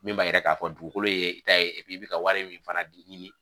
Min b'a yira k'a fɔ dugukolo ye i ta ye i bi ka wari min fana ɲini